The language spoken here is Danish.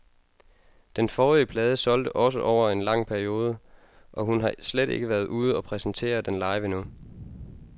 Den forrige plade solgte også over en lang periode, og hun har slet ikke været ude og præsentere den live endnu.